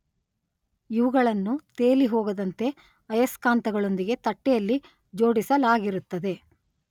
ಇವುಗಳನ್ನು ತೇಲಿಹೋಗದಂತೆ ಅಯಸ್ಕಾಂತಗಳೊಂದಿಗೆ ತಟ್ಟೆಯಲ್ಲಿ ಜೋಡಿಸಲಾಗಿರುತ್ತದೆ.